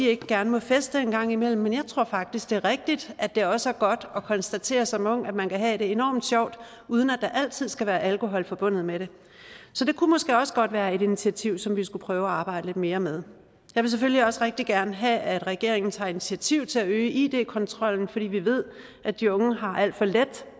ikke gerne må feste en gang imellem men jeg tror faktisk at det er rigtigt at det også er godt at konstatere som ung at man kan have det enorm sjovt uden at der altid skal være alkohol forbundet med det så det kunne måske også godt være et initiativ som vi skulle prøve at arbejde lidt mere med jeg vil selvfølgelig også rigtig gerne have at regeringen tager initiativ til at øge id kontrollen fordi vi ved at de unge har alt for let